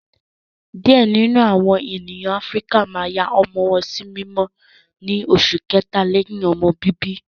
Diẹ ninu awọn ènìyàn Áfíríkà máa yà awọn ọmọ wọn si mimọ ní oṣu kẹta lẹyìn ọmọ bíbí